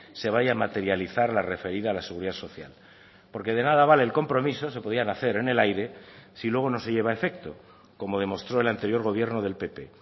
se vaya a materializar la referida a la seguridad social porque de nada vale el compromiso se podían hacer en el aire si luego no se lleva a efecto como demostró el anterior gobierno del pp